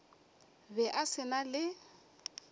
be a se na le